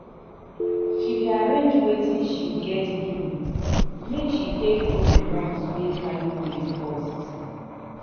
she dey arrange wetin she get do make she take do di ones wey carry weight first.